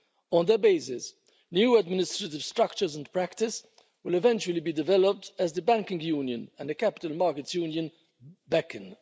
On that basis, new administrative structures and practice will eventually be developed, as the Banking Union and the Capital Markets Union beckon.